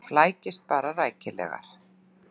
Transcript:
Flækist bara rækilegar.